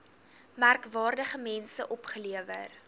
merkwaardige mense opgelewer